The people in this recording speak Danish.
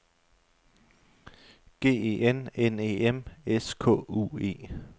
G E N N E M S K U E